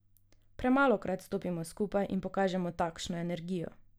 Premalokrat stopimo skupaj in pokažemo takšno energijo.